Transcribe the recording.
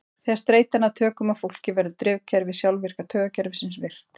Þegar streita nær tökum á fólki verður drifkerfi sjálfvirka taugakerfisins virkt.